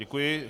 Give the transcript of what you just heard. Děkuji.